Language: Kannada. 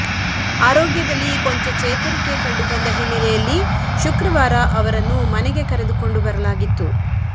ಆರೋಗ್ಯದಲ್ಲಿ ಕೊಂಚ ಚೇತರಿಕೆ ಕಂಡುಬಂದ ಹಿನ್ನೆಲೆಯಲ್ಲಿ ಶುಕ್ರವಾರ ಅವರನ್ನು ಮನೆಗೆ ಕರೆದುಕೊಂಡು ಬರಲಾಗಿತ್ತು